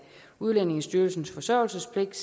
udlændingestyrelsens forsørgelsespligt